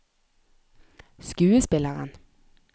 skuespilleren